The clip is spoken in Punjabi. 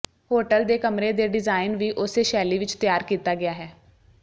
ਹੋਟਲ ਦੇ ਕਮਰੇ ਦੇ ਡਿਜ਼ਾਇਨ ਵੀ ਉਸੇ ਸ਼ੈਲੀ ਵਿੱਚ ਤਿਆਰ ਕੀਤਾ ਗਿਆ ਹੈ